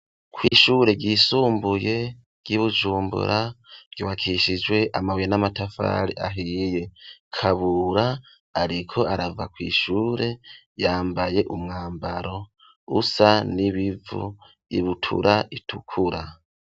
Kw'ishure ryisumbuye ry'Ibujumbura ryubakishijwe amabuye n'amatafari ahiye, Kabura ariko arava kw'ishure yambaye umwambaro usa n'ibivu ibutura itukura.